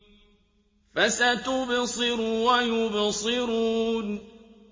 فَسَتُبْصِرُ وَيُبْصِرُونَ